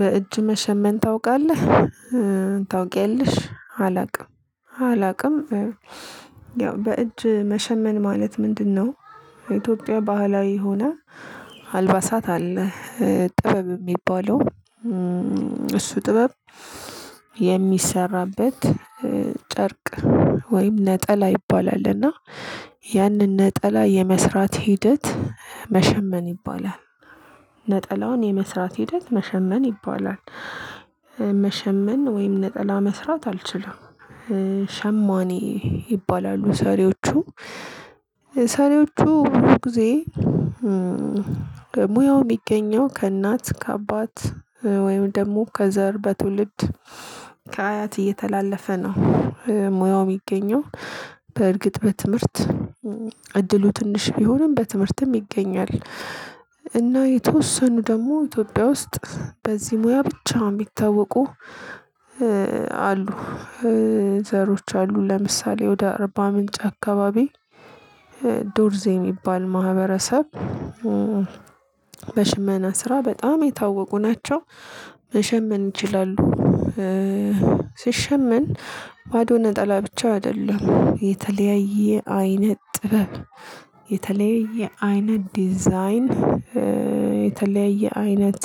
በእጅ መሸመን ታውቃለህ? ታውቂያለሽ አላቅም። አላቅም። ያው በእጅ መሸመን ማለት ምንድነው? ኢትዮጵያ ባህላዊ ሆና አልባሳት አለ ጥበብ የሚባለው። እሱ ጥበብ የሚሰራበት ጨርቅ ወይም ነጠላ ይባላል። እና ያንን ነጠላ የመስራት ሂደት መሸመን ይባላል። ነጠላውን የመስራት ሂደት መሸመን ይባላል። መሸመን ወይም ነጠላ መስራት አልችልም። ሸማኔ ይባላሉ ሰሪዎቹ። ሰሪዎቹ ብዙ ጊዜ። ሙያው የሚገኘው ከእናት ከአባት ወይም ደግሞ ከዘር በትውልድ ከአያት እየተላለፈ ነው። ሙያው የሚገኘው በእርግጥ በትምህርት። እድሉ ትንሽ ቢሆንም በትምህርትም ይገኛል። እና የተወሰኑ ደግሞ ኢትዮጵያ ውስጥ በዚህ ሙያ ብቻ የሚታወቁ አሉ። ዘሮች አሉ። ለምሳሌ ወደ አርባ ምንጭ አካባቢ ዶርዝ የሚባል ማህበረሰብ። በሽመና ስራ በጣም የታወቁ ናቸው። መሸመን ይችላሉ። ሲሸመን ባዶ ነጠላ ብቻ አይደለም የተለያየ አይነት ጥበብ። የተለያየ አይነት ዲዛይን የተለያየ አይነት